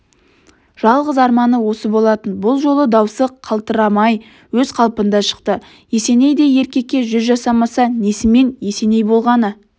жалғыз арманы осы болатын бұл жолы даусы қалтырамай өз қалпында шықты есенейдей еркекке жүз жасамаса несімен есеней болғаны